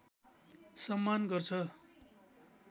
सम्मान गर्छ